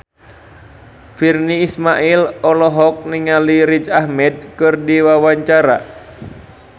Virnie Ismail olohok ningali Riz Ahmed keur diwawancara